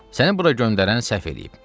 Səni bura göndərən səhv eləyib.